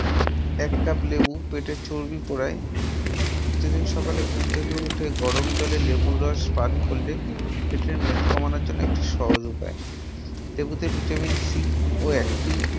এক cup লেবু পেটের চর্বি পোড়ায়। প্রতিদিন সকালে ঘুম থেকে উঠে গরম জলে লেবুর রস পান করলে পেটের মেদ কমানোর জন্য একটি সহজ উপায়ে। লেবুতে Vitamin C ও একটি anti